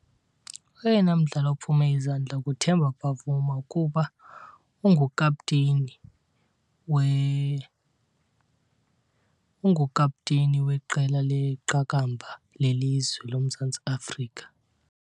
Oyena mdlali ophume izandla nguTemba Bavuma kuba ungukapteyini , ungukapteyini weqela leqakamba lelizwe loMzantsi Afrika.